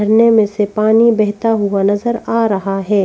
झरने में से पानी बहता हुआ नजर आ रहा है।